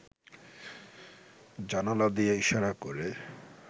জানালা দিয়ে ইশারা করে